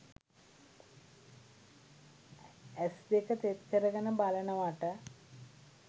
ඇස් දෙක තෙත් කරගෙන බලනවට?